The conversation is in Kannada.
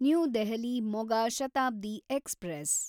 new Delhi Moga Shatabdi express